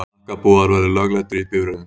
Hnakkapúðar verði lögleiddir í bifreiðum.